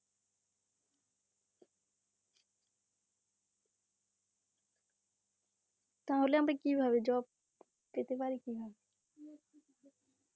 তাহলে আমরা কিভাবে job পেতে, পারি কি না?